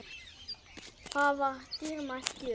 Það var dýrmæt gjöf.